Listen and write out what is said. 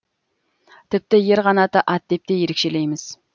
тіпті ер қанаты ат деп те ерекшелейміз